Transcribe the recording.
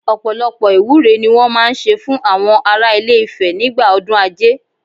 Ọ̀pọ̀lọpọ̀ ìwúre ni wọ́n máa ń ṣe fún àwọn ará ilé Ifẹ̀ nígbà ọdún Ajé